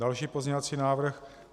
Další pozměňovací návrh.